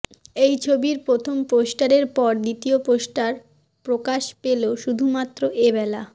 এই ছবির প্রথম পোস্টারের পর দ্বিতীয় পোস্টার প্রকাশ পেল শুধুমাত্র এবেলা